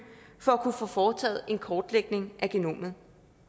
for at kunne få foretaget en kortlægning af genomet